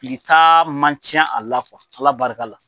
Fili ta man ca a la Ala barika la.